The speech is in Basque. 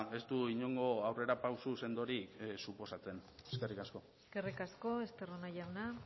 ez du inongo aurrerapauso sendorik suposatzen eskerrik asko eskerrik asko estarrona jauna